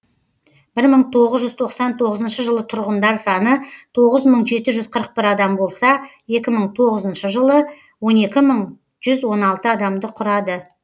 бір мың тоғыз жүз тоқсан тоғызыншы жылы тұрғындар саны тоғыз мың жеті жүз қырық бір адам болса екі мың тоғызыншы жылы он екі мың жүз он алты адамды құрады